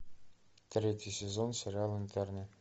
третий сезон сериала интерны